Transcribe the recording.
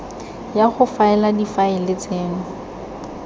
ya go faela difaele tseno